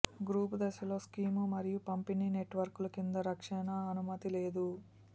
group దశలో scheme మరియు పంపిణీ నెట్వర్కులు కింద రక్షణ అనుమతి లేదు